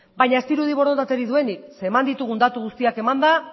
baina ez dirudi borondaterik duenik zeren eta eman ditugun datu guztiak emanda